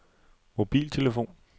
mobiltelefon